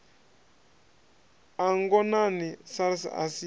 a ngonani sars a si